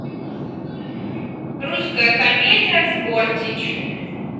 русская комедия с бортич